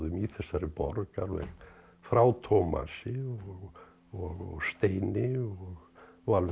í þessari borg alveg frá Tómasi og Steini og alveg